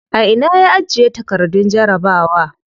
A ina ya ajiye takardun jarabawa?